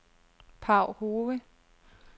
Paw Hove